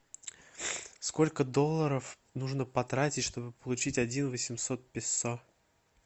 сколько долларов нужно потратить чтобы получить один восемьсот песо